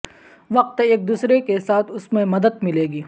وقت ایک دوسرے کے ساتھ اس میں مدد ملے گی